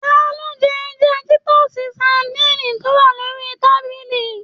Talo jẹ ẹja titọsi sadinni to wà lórí tábìlì?